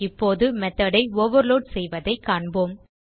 இப்போது மெத்தோட் ஐ ஓவர்லோட் செய்வதைக் காண்போம்